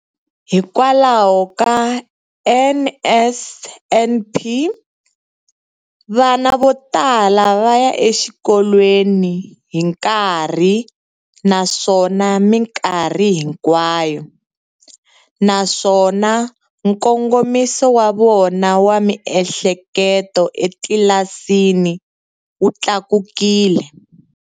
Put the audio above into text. Hikwalaho ka NSNP, vana vo tala va ya exikolweni hi nkarhi naswona mikarhi hinkwayo, naswona nkongomiso wa vona wa miehleketo etlilasini wu tlakukile.